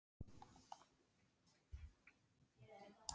Himinninn var heiður og frostið beit í kinnarnar.